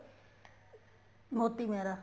Moti Mehra